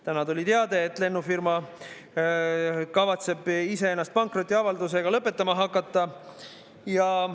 Täna tuli teade, et lennufirma kavatseb iseennast pankrotiavaldusega lõpetama hakata.